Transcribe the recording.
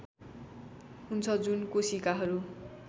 हुन्छ जुन कोशिकाहरू